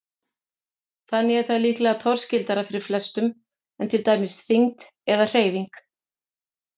Þannig er það líklega torskildara fyrir flestum en til dæmis þyngd eða hreyfing.